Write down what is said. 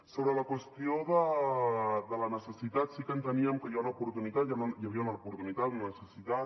sobre la qüestió de la necessitat sí que enteníem que hi ha una oportunitat hi havia una oportunitat una necessitat